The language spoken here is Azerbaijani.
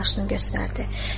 başını göstərdi.